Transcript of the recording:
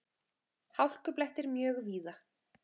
Hálkublettir mjög víða